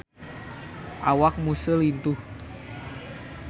Awak Muse lintuh